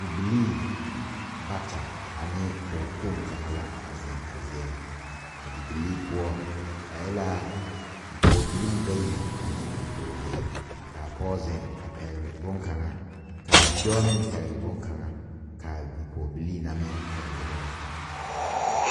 Bibilii bata ane poɔ kpong kanga la zeng a zeɛ nga a bibilii puo ba e la bipɔgbilii bayi ani bidoɔlee kaa poɔ zeng a pɛgli bunkanga ka a bidoɔ meng pɛgle bunkanga kaa bipɔgbilii na meng pɛgle bunkanga.